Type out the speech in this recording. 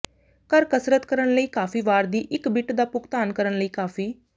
ਘਰ ਕਸਰਤ ਕਰਨ ਲਈ ਕਾਫ਼ੀ ਵਾਰ ਦੀ ਇੱਕ ਬਿੱਟ ਦਾ ਭੁਗਤਾਨ ਕਰਨ ਲਈ ਕਾਫ਼ੀ